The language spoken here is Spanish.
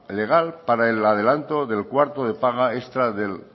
legal para el adelanto del cuarto de paga extra del